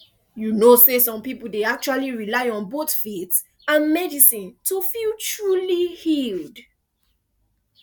you know some people dey actually rely on both faith and medicine to feel truly healed